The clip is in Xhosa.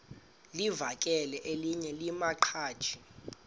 livakele elinye lamaqhaji